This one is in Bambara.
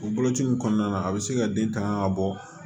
O boloci in kɔnɔna na a bɛ se ka den tanga ka bɔ